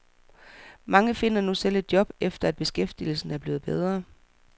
Mange finder nu selv et job, efter at beskæftigelsen er blevet bedre.